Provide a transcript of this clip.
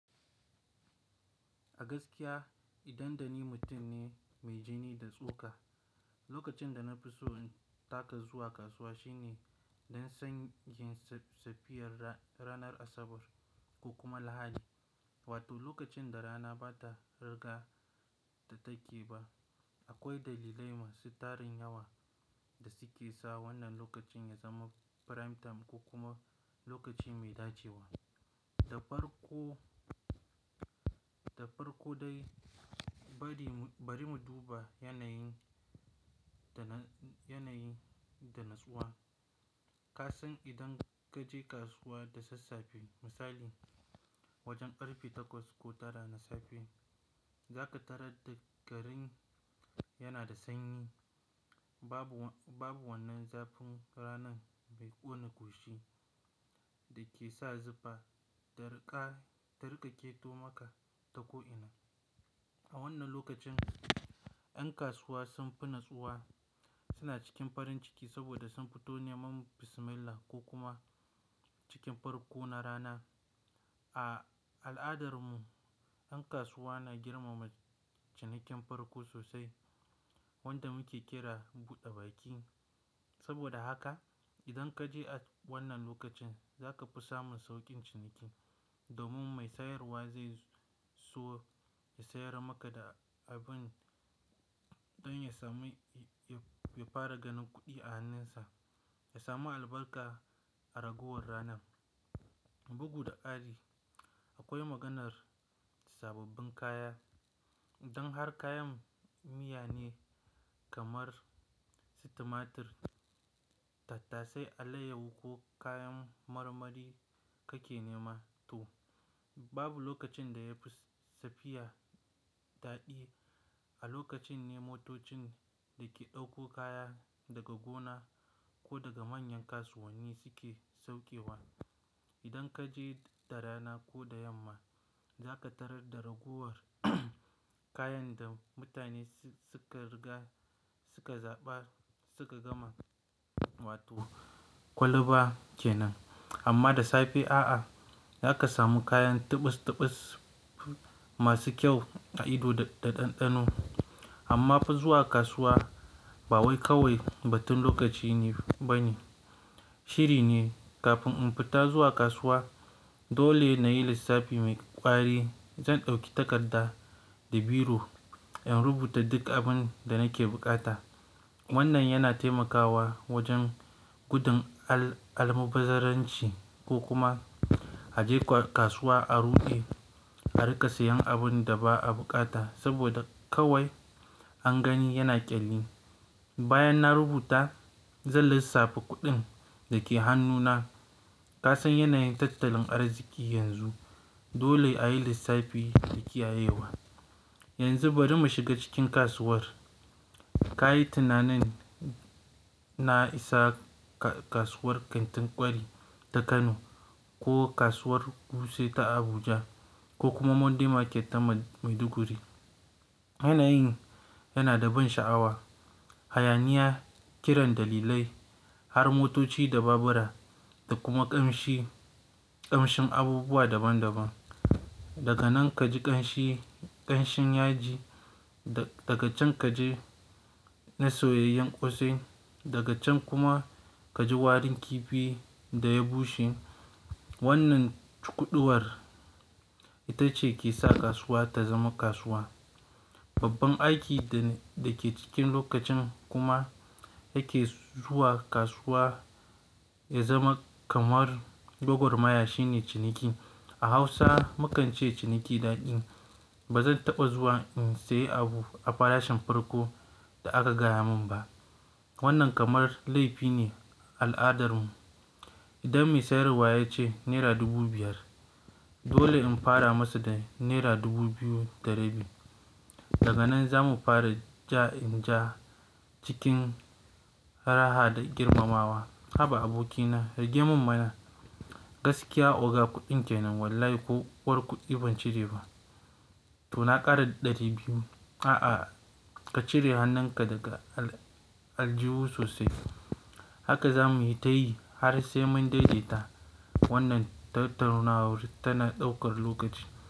Gaskiya idanɗani mutum ne mai jini da tsoka. Lokacin da na fi so in taka zuwa kasuwa shine don sanyin safiyar ranar Asabar ko kuma Lahadi, wato lokacin da rana bata riga ta take ba. Akwai dalilai masu tarin yawa da suke sa wannan lokacin ya zama prime time ko kuma lokaci mai dacewa. Da farko dai bari mu duba yanayin da natsuwa. Ka san idan kaje kasuwa da sassafe misali wajen karfe takwas ko tara na safe, zaka tarar da garin yana da sanyi. Babu wannan zafin ranan mai ƙone gashi da ke sa zufa ya riƙa keto maka ta ko ina. A wannan lokacin yan kasuwa sun fi natsuwa, suna cikin farin ciki saboda sun fito neman bismillah ko kuma cikin farko na rana. A al'adar mu yan kasuwa na girmama cinikin farko sosai wanda muke kira buɗe baki. Saboda haka idan kaje a wannan lokacin zaka fi samun sauƙin ciniki domin mai sayarwa zai so ya sayar maka da abin don ya samu ya fara ganin kuɗi a hannunsa, ya samu albarka a ragowar ranan. Bugu da ƙari akwai maganar sababbin kaya. Idan har kayan miya ne kamar su tumatir, tattasai, alayyahu ko kayan marmari kake nema to babu lokacin da yafi safiyar daɗi. A lokacin ne motocin da ke ɗauko kaya daga gona ko daga manyan kasuwanni suke saukewa. Idan kaje da rana ko da yamma zaka tarar da ragowar kayan da mutane suka riga suka zaɓa suka gama wato kwalba kenan. Amma da safe a'a, zaka samu kayan tibus-tibus masu kyau a ido da ɗanɗano. Amma fa zuwa kasuwa ba wai kawai batun lokaci ne ba ne. Shiri ne. Kafin in fita zuwa kasuwa dole nayi lissafi mai ƙwari. Zan ɗauki takarda da biro in rubuta duk abin da nake buƙata. Wannan yana taimakawa wajen gudun almubazzarranci ko kuma a je kasuwa a rude a riƙa sayan abin da ba a buƙata saboda kawai an gani yana ƙyalli. Bayan na rubuta zan lissafi kuɗin da ke hannuna. Ka san yanayin tattalin arziki yanzu dole ayi lissafi da kiyayewa. Yanzu bari mu shiga cikin kasuwar. Ka yi tunanin na isa kasuwar kantin ƙwari ta Kano ko kasuwar Wuse ta Abuja ko kuma Monday Market ta Maiduguri. Yanayin yana da ban sha'awa, hayaniya, kiran dalilai har motoci da babura da kuma ƙamshin abubuwa daban daban. Daga nan kaji ƙamshin yaji, daga can kaji na soyayyen ƙosai daga can kuma kaji warin kifi da ya bushe. Wannan cukuduwar ita ce ke sa kasuwa ta zama kasuwa. Babban aiki da ke cikin lokacin kuma yake zuwa kasuwa ya zama kamar Gwagwarmaya shine ciniki. A Hausa mu kan ce ciniki daɗi. Ba zan taɓa zuwa in sayi abu a farashin farko da aka gaya mun ba. Wannan kamar laifi ne a al'adar mu. Idan mai sayarwa ya ce naira dubu biyar dole in fara masa da naira dubu biyu da ɗari biyu. Daga nan zamu fara ja in ja cikin raha da girmamawa. Haba abokina rage mun mana, gaskiya oga kuɗin kenan wallahi ko uwar kuɗi ban cire ba. To na ƙara ɗari biyu. A'a ka cire hannunka daga aljihu sosai. Haka zamuyi ta yi har sai mun daidaita wannan tattaunawar tana ɗaukar lokaci.